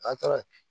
A taara